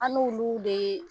An n'olu de ye